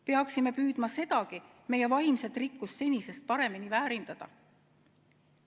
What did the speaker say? Peaksime püüdma sedagi meie vaimset rikkust senisest paremini väärindada.